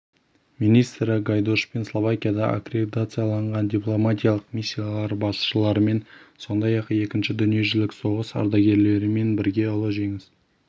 министрі гайдошпен словакияда аккредитацияланған дипломатиялық миссиялар басшыларымен сондай-ақ екінші дүниежүзілік соғыс ардагерлерімен бірге ұлы жеңіс